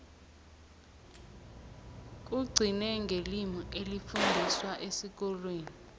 kugcine ngelimi elifundiswa esikolweni